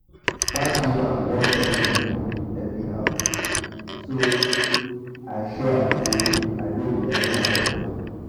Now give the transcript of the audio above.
dat woman wan talk to me anyhow so so i show am say i no be anyhow person